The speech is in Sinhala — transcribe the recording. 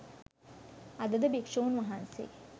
අදද භික්ෂූන් වහන්සේ